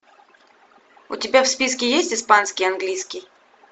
у тебя в списке есть испанский английский